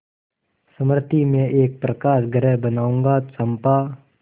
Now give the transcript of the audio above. मृति में एक प्रकाशगृह बनाऊंगा चंपा